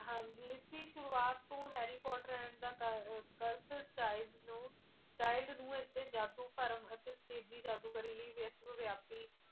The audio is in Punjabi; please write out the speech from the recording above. ਹਾਂ ਜੀ ਇਸ ਦੀ ਸ਼ੁਰੂਆਤ ਤੋਂ harry potter and the curse curse child ਨੂੰ child ਨੂੰ ਇਸ ਨੂੰ ਜਾਦੂ ਭਰਮ ਅਤੇ ਤੇਰੀ ਜਾਦੂਗਰੀ ਲਈ ਵਿਸ਼ਵ ਵਿਆਪੀ